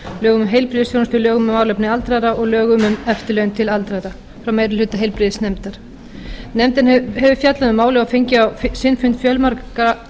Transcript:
um heilbrigðisþjónustu lögum um málefni aldraðra og lögum um eftirlaun til aldraðra frá meiri hluta heilbrigðisnefndar nefndin hefur fjallað um málið og fengið á sinn fund fjölmarga